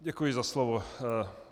Děkuji za slovo.